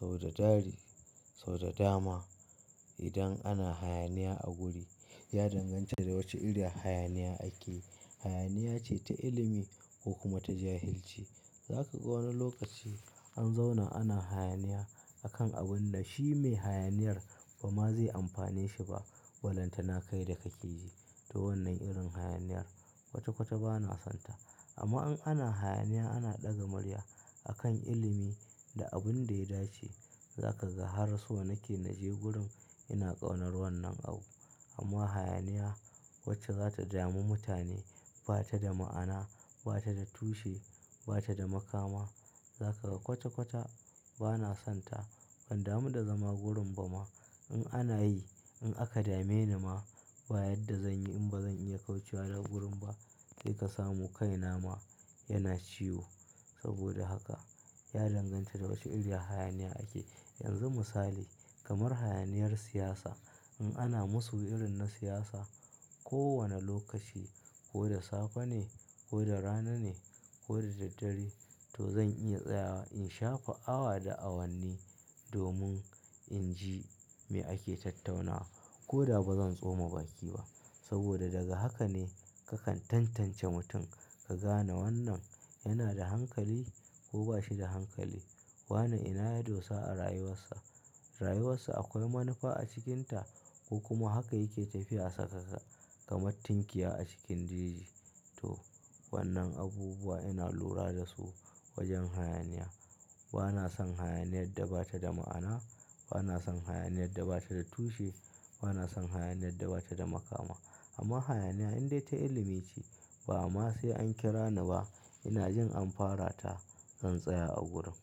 Saboda dari, saboda dama idan ana hayaniya a guri, ya danganta da wace irin hayaniya ake. Hayaniya ce ta ilimi ko kuma ta jahilci. Za ka ga wani lokaci an zauna ana hayaniya a kan abun da shi mai hayaniyar ba ma zai amfanashi ba. Balantana kai da ka keji. To wannan irin hayaniyar kwata-kwata ba na son ta. Amma in ana hayaniya ana ɗaga murya a kan ilimi da abin da ya dace, za ka ga har so na ke na je gurin ina ƙaunar wannan abu. Amma hayaniya wacce za ta dami mutane, ba ta da ma'ana, ba ta da tushe, ba ta da makama. Za ka ga kwata-kwata ba na son ta. Ban damu da zama gurin ba ma. In ana yi, in aka dame ni ma, ba yadda zan yi in ba zan iya kaucewa daga gurin ba, kai ka samu kai na ma yana ciwo. Saboda haka ya danganta da wace irin hayaniya ake. Yanzu misali, kamar hayaniyar siyasa. In ana masu wurin na siyasa, kowane lokaci, ko da safe ne, ko da rana ne, ko da daddare, to zan iya tsayawa in shafe awa da awanni domin in ji me ake tattaunawa. Ko da ba zan tsoma baki ba. Saboda daga haka ne ka kan tantance mutum. Ka gane wannan yana da hankali ko ba shi da hankali. Wannan ina ya dosa a rayuwar sa. Rayuwar sa akwai manufa a cikinta ko kuma haka yake tafiya a saka sa kamar tinkiya a cikin daji. To wannan abubuwa ina lura da su wajen hayaniya. Ba na son hayaniyar da ba ta da ma'ana, ba na son hayaniyar da ba ta da tushe, ba na son hayaniyar da ba ta da makama. Amma hayaniya indai ta ilimi ce, ba ama sai an kira ni ba, ina jin an fara ta, zan tsaya a gurin.